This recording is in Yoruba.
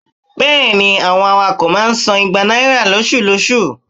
bẹẹni, àwọn awakọ ma ń sán igbà naira loṣú-loṣú.